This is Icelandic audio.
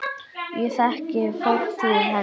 Ég þekki fortíð hennar.